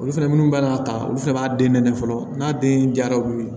Olu fɛnɛ minnu b'a ta olu fɛnɛ b'a den nɛnɛ fɔlɔ n'a den jara olu ye